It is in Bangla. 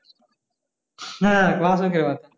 হ্যাঁ বাসকের পাতা